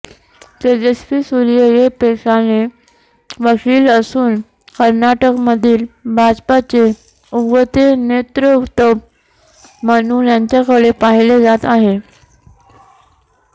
तेजस्वी सूर्या हे पेशाने वकील असून कर्नाटकमधील भाजपाचे उगवते नेतृत्व म्हणून यांच्याकडे पाहिले जात आहे